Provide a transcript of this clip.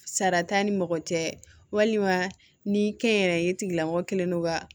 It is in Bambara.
Sara t'an ni mɔgɔ cɛ walima ni kɛnyɛrɛye tigilamɔgɔ kɛlen don ka